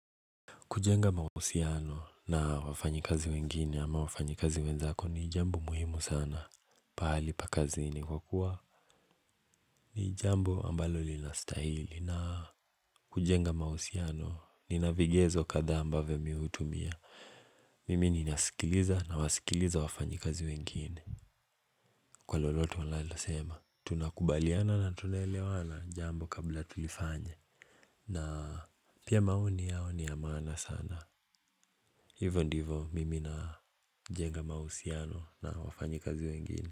Kujenga mahusiano na wafanyi kazi wengine ama wafanyi kazi wenzako ni jambo muhimu sana. Pahali pakazi ni kwa kuwa ni jambo ambalo linastihili na kujenga mahusiano ni navigezo kadhaa ambavo mimi hutumia. Mimi ni nasikiliza na wasikiliza wafanyi kazi wengine. Kwa lolote walalo sema tunakubaliana na tunelewana jambo kabla tulifanye na pia maoni yao niya maana sana. Hivyo ndivo mimi na jenga mahusiano na wafanyi kazi wengine.